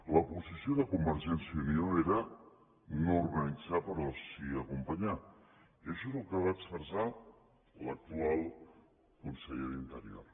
la posició de convergència i unió era no organitzar però sí acompanyar i això és el que va expressar l’actual conseller d’interior